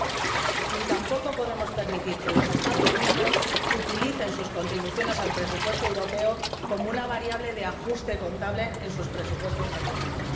2004. Ni tampoco podemos permitir que los Estados miembros utilicen sus contribuciones al presupuesto europeo como una variable de ajuste contable en sus presupuestos nacionales.